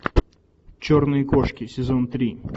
черные кошки сезон три